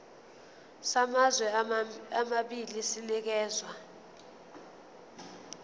samazwe amabili sinikezwa